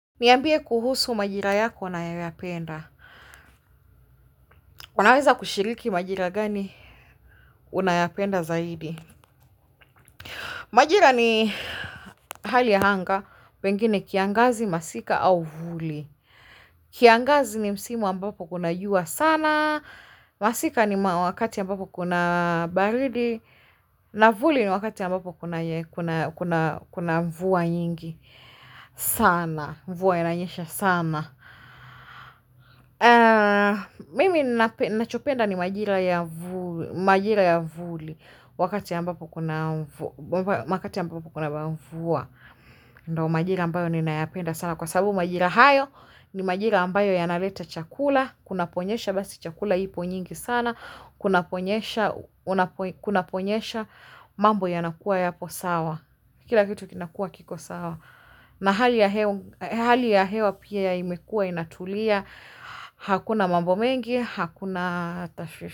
Niambie kuhusu majira yako nayoyapenda unaweza kushiriki majira gani unayapenda zaidi majira ni hali ya anga pengine kiangazi masika au vuli kiangazi ni msimu ambapo kuna jua sana masika ni wakati ambapo kuna baridi na vuli ni wakati ambapo kuna mvua nyingi sana, mvua inanyesha sana mimi nachopenda ni majira ya vuli wakati ambapo kuna mvua ndo majira ambayo ninayapenda sana kwa sababu majira hayo ni majira ambayo yanaleta chakula. Kunaponyesha basi chakula ipo nyingi sana. Kunaponyesha mambo yanakuwa yapo sawa kila kitu kinakuwa kiko sawa na hali ya hewa pia ya imekuwa inatulia hakuna mambo mengi, hakuna tashwishi.